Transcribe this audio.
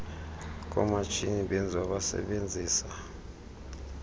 komatshini benziwa basebenzisa